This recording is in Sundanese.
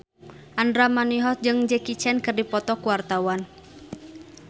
Andra Manihot jeung Jackie Chan keur dipoto ku wartawan